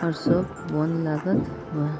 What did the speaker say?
और सब --